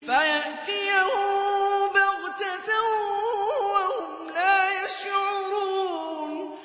فَيَأْتِيَهُم بَغْتَةً وَهُمْ لَا يَشْعُرُونَ